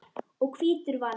og hvítur vann.